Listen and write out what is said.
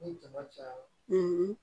Ni jama cayara